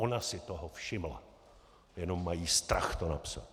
Ona si toho všimla, jenom mají strach to napsat.